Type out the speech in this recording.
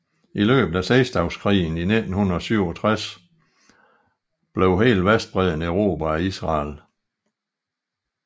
I løbet af seksdageskrigen i 1967 blev hele Vestbredden erobret af Israel